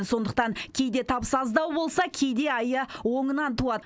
сондықтан кейде табысы аздау болса кейде айы оңынан туады